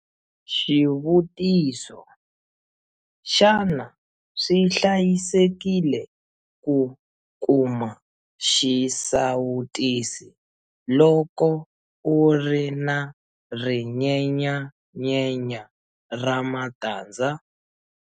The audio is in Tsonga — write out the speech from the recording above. Xivutiso- Xana swi hlayisekile ku kuma xisawutisi loko u ri na rinyenyanyenya ra matandza?